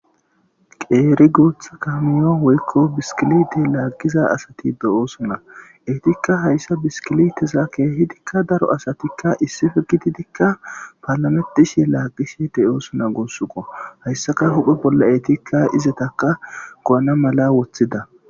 Qeeri guutha kamiyon woykko biskilite laaggiza asati do7oosona eetikka hayssa biskiliteza keehidikka daro asatikka issife gididikka paalametishe laaqishe teyoosona guossuko hayssaka huphe bolla eetikka izetaka go7ana mala woththida.